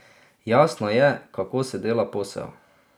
Jasno je, kako se dela posel.